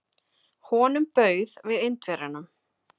Honum bauð við Indverjanum.